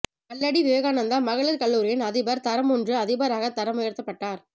கல்லடி விவேகானந்தா மகளீர் கல்லூரியின் அதிபர் தரம் ஒன்று அதிபராக தரமுயர்த்தப்பட்டார்